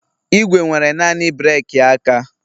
Igwe nwere naanị breeki aka